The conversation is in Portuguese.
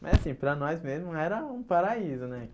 Mas assim, para nós mesmo era um paraíso, né?